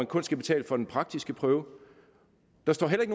kun skal betale for den praktiske prøve der står heller